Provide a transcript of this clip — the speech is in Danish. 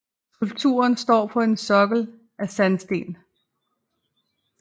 Skulpturen står på en sokkel af sandsten